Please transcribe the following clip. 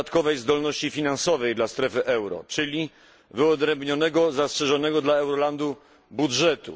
dodatkowej zdolności finansowej dla strefy euro, czyli wyodrębnionego, zastrzeżonego dla Eurolandu budżetu.